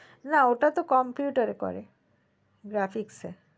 না ওটা তো computer করে graphic